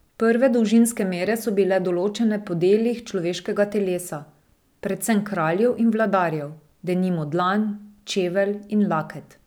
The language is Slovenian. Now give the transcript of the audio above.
Prve dolžinske mere so bile določene po delih človeškega telesa, predvsem kraljev in vladarjev, denimo dlan, čevelj in laket.